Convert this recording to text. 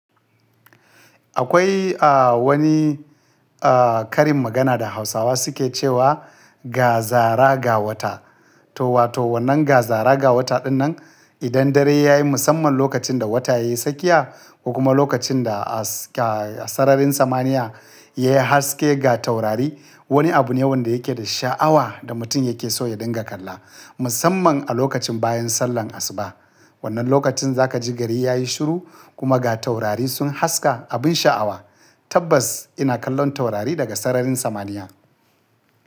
Akwai, a, wani, a, karin magana da Hausawa suke cewa “ga zara ga wata”. To, wato wannan ga zara ga wata ɗinnan idan dare ya yi musamman lokacin da wata ya yi sakiya kuma lokacin da aska sararin samaniya ya haske ga taurari. Wani abu ne wanda yake da sha'awa da mutum yake so ya dinga kalla, musamman a lokacin bayan sallar asuba. Wannan lokacin za ka ji gari ya yi shiru kuma ga taurari sun haska abin sha'awa. Tabbas ina kallon taurari daga sararin samaniya.